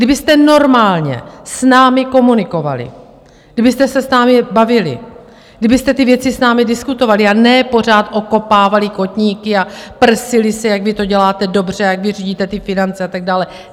Kdybyste normálně s námi komunikovali, kdybyste se s námi bavili, kdybyste ty věci s námi diskutovali, a ne pořád okopávali kotníky a prsili se, jak vy to děláte dobře, jak vy řídíte ty finance a tak dále.